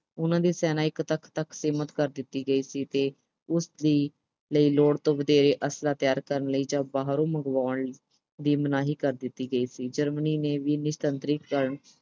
ਉਨਾਂ ਦੀ ਸੈਨਾ ਇੱਕ ਲੱਖ ਤੱਕ ਸੀਮਤ ਕਰ ਦਿਿੱਤੀ ਗਈ ਸੀ ਤੇ ਉਸ ਲਈ ਲੋੜ ਤੋਂ ਵੱਧ ਅਸਲਾ ਤਿਆਰ ਕਰਨ ਲਈ ਜਾਂ ਬਾਹਰੋਂ ਮੰਗਵਾਉਮ ਲਈ, ਦੀ ਮਨਾਹੀ ਕਰ ਦਿੱਤr ਗਈ ਸੀ। Germany ਨੇ ਵੀ ਨਿਸ਼ਸਤਰੀਕਰਨ